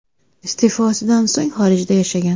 Iste’fosidan so‘ng xorijda yashagan.